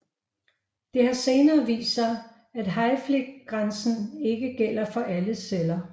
Det har senere vist sig at hayflickgrænsen ikke gælder for alle celler